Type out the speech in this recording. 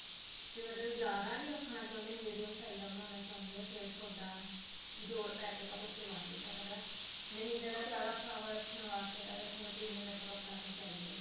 ਵੀ ਮਤਲਬ ਜਿਆਦਾ ਨੀ ਰੱਖਣਾ ਚਾਹੁੰਦੇ medium size ਦਾ ਬਣਾਉਣਾ ਚਾਹੁੰਦੇ ਹੋ ਫੇਰ ਤੁਹਾਡਾ ਜੋੜ ਪੈਕੇ ਤਾਂ ਕੁੱਝ ਬਣ ਨੀ ਸਕਦਾ ਨਹੀਂ ਤਾਂ ਜਿਆਦਾ ਫਲਾਵਟ ਰੱਖਨ ਵਾਸਤੇ ਤਾਂ ਫੇਰ ਤੁਹਾਨੂੰ ਤਿੰਨ ਮੀਟਰ ਕੱਪੜਾ ਤਾਂ ਚਾਹੀਦਾ ਹੀ ਆ